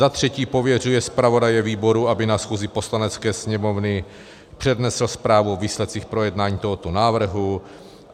Za třetí pověřuje zpravodaje výboru, aby na schůzi Poslanecké sněmovny přednesl zprávu o výsledcích projednání tohoto návrhu.